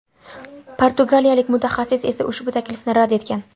Portugaliyalik mutaxassis esa ushbu taklifni rad etgan .